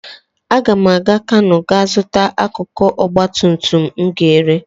Aga m aga Kanú gaa zụta akụkụ ọgbatumtum m ga-ere.